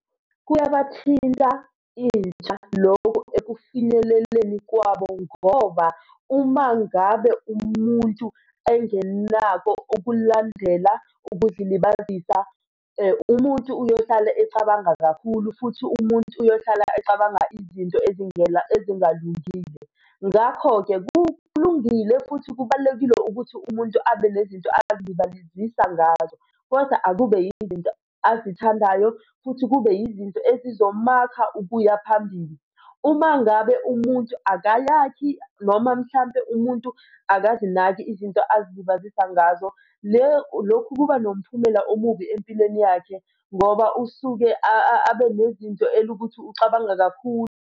Kuyabathinta intsha lokho ekufinyeleleni kwabo ngoba uma ngabe umuntu engenako ukulandela ukuzilibazisa umuntu uyohlale ecabanga kakhulu, futhi umuntu uyohlala ecabanga izinto ezingena, ezingalungile. Ngakho-ke kulungile futhi kubalulekile ukuthi umuntu abe nezinto azilibazizisa ngazo, kodwa akube yinto azithandayo futhi kube yizinto ezizomakha ukuya phambili. Uma ngabe umuntu akayakhi noma mhlampe umuntu akazinaki izinto azilibazisa ngazo lokhu kuba nomphumela omubi empilweni yakhe ngoba usuke abe nezinto elukuthi ucabanga kakhulu.